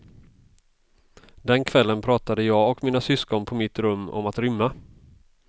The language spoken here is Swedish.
Den kvällen pratade jag och mina syskon på mitt rum om att rymma.